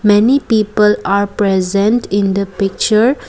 many people are present in the picture.